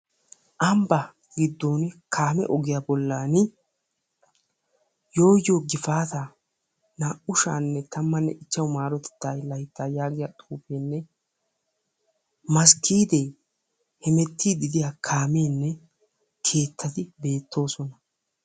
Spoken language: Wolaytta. Ambbaa giddon kaame ogiyaa bollaani yoo yoo gifaataa naa"u shaanne tammanne ichchashshu marotettaa layttaa yaagiyaa xuufeenne masggiidee hemettiidi diyaa kameenne keettati beettoosona.